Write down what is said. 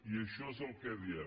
i això és el que diem